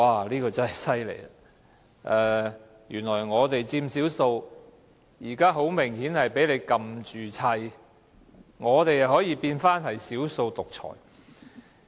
這說法真是厲害，我們佔少數，現在很明顯挨打，卻變成"少數獨裁"。